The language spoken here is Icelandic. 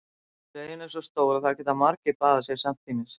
Laugin er svo stór að þar geta margir baðað sig samtímis.